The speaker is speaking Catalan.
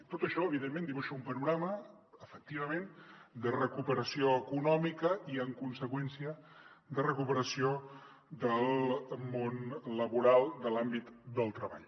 tot això evidentment dibuixa un panorama efectivament de recuperació econòmica i en conseqüència de recuperació del món laboral de l’àmbit del treball